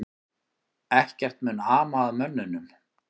Ekkert mun ama að mönnunum